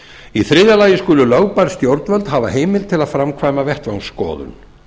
í þriðja lagi skulu lögbær stjórnvöld hafa heimild til að framkvæma vettvangsskoðun